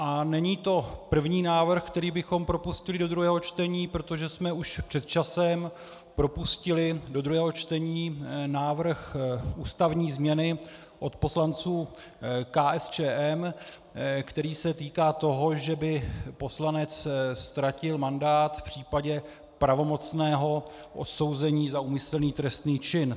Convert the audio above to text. A není to první návrh, který bychom propustili do druhého čtení, protože jsme už před časem propustili do druhého čtení návrh ústavní změny od poslanců KSČM, který se týká toho, že by poslanec ztratil mandát v případě pravomocného odsouzení za úmyslný trestný čin.